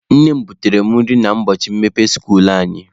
Nne m butere mụ nri n'ubọchị mmepe skuulu anyị.